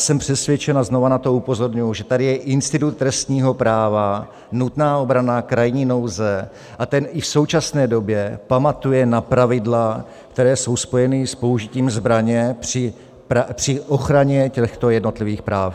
Jsem přesvědčen - a znova na to upozorňuji - že tady je institut trestního práva, nutná obrana, krajní nouze, a ten i v současné době pamatuje na pravidla, která jsou spojena s použitím zbraně při ochraně těchto jednotlivých práv.